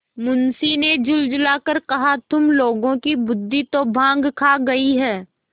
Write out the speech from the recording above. मुंशी ने झुँझला कर कहातुम लोगों की बुद्वि तो भॉँग खा गयी है